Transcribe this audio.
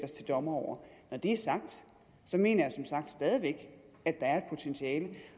os til dommer over når det er sagt mener jeg som sagt stadig væk at der er et potentiale